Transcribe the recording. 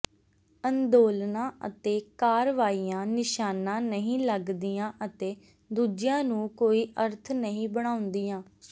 ਅੰਦੋਲਨਾਂ ਅਤੇ ਕਾਰਵਾਈਆਂ ਨਿਸ਼ਾਨਾ ਨਹੀਂ ਲੱਗਦੀਆਂ ਅਤੇ ਦੂਜਿਆਂ ਨੂੰ ਕੋਈ ਅਰਥ ਨਹੀਂ ਬਣਾਉਂਦੀਆਂ